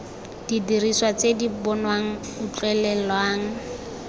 didiriswa tse di bonwang utlwelelwang